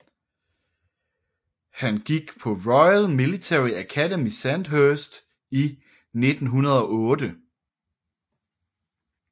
Han gik på Royal Military Academy Sandhurst i 1908